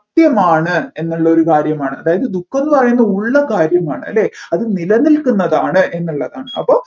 സത്യമാണ് എന്നുള്ളൊരു കാര്യമാണ് അതായത് ദുഃഖം എന്ന് പറയുന്നത് ഉള്ള കാര്യമാണ് അല്ലെ അത് നിലനിക്കുന്നതാണ് എന്നുള്ളതാണ് അപ്പോ